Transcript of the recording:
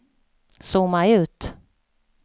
zooma ut